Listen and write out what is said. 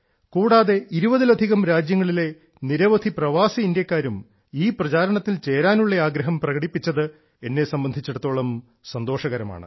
കൂടാതെ ഇരുപതിലധികം രാജ്യങ്ങളിലെ നിരവധി പ്രവാസി ഇന്ത്യക്കാരും പ്രചാരണത്തിൽ ചേരാനുള്ള ആഗ്രഹം പ്രകടിപ്പിച്ചത് എന്നെ സംബന്ധിച്ചിടത്തോളം സന്തോഷകരമാണ്